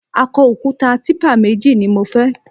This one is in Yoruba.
Akọ òkúta típà méjì ni mo fẹ́